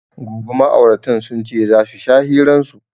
Gobe ma'auratan sunce zasu sha hiran su